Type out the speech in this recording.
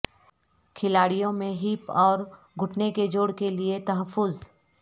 کھلاڑیوں میں ہپ اور گھٹنے کے جوڑ کے لئے تحفظ